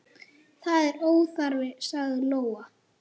Það er óþarfi, sagði Lóa.